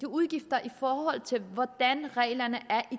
udgifter i forhold til hvordan reglerne er i